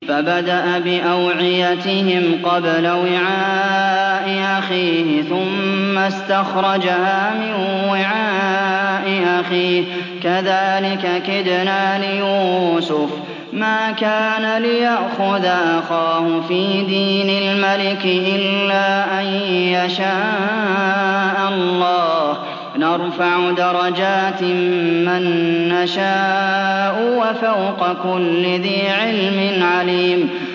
فَبَدَأَ بِأَوْعِيَتِهِمْ قَبْلَ وِعَاءِ أَخِيهِ ثُمَّ اسْتَخْرَجَهَا مِن وِعَاءِ أَخِيهِ ۚ كَذَٰلِكَ كِدْنَا لِيُوسُفَ ۖ مَا كَانَ لِيَأْخُذَ أَخَاهُ فِي دِينِ الْمَلِكِ إِلَّا أَن يَشَاءَ اللَّهُ ۚ نَرْفَعُ دَرَجَاتٍ مَّن نَّشَاءُ ۗ وَفَوْقَ كُلِّ ذِي عِلْمٍ عَلِيمٌ